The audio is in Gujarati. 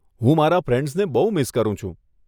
હું મારા ફ્રેન્ડ્સને બહુ મિસ કરું છું.